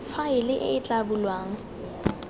faele e e tla bulwang